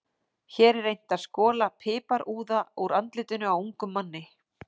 Hér er reynt að skola piparúða úr andlitinu á ungum manni.